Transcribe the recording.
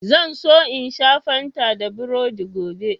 Zan so in sha Fanta da burodi gobe.